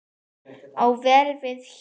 á vel við hér.